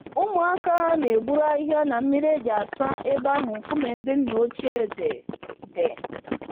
Ụmụaka na-eburu ahịhịa na mmiri e ji asa ebe ahụ nkume ndị nna ochie dị. dị.